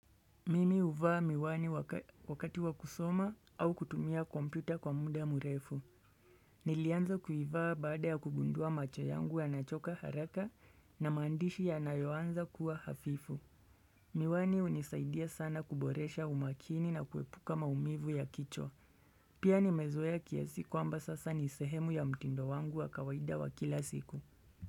Mimi huvaa miwani wakati wa kusoma au kutumia kompyuta kwa muda murefu. Nilianza kuivaa baada ya kugundua macho yangu yanachoka haraka na maandishi yanayoanza kuwa hafifu. Miwani hunisaidia sana kuboresha umakini na kuepuka maumivu ya kichwa Pia nimezoea kiasi kwamba sasa ni sehemu ya mtindo wangu wa kawaida wa kila siku.